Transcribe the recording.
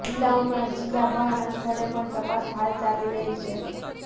જિલ્લા ઉપરાંત જિલ્લા બહારનાં સ્થળે પણ તપાસ હાલ ચાલી રહી છે